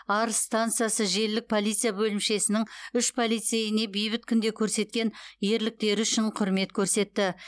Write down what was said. арыс стансасы желілік полиция бөлімшесінің үш полицейіне бейбіт күнде көрсеткен ерліктері үшін құрмет көрсетті